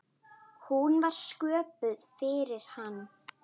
Hún var sköpuð fyrir hann.